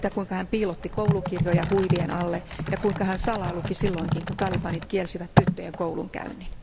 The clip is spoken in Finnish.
Siitä, kuinka hän piilotti koulukirjoja huivien alle ja kuinka hän salaa luki silloinkin, kun talibanit kielsivät tyttöjen koulunkäynnin.